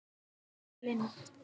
Jóhanna Lind.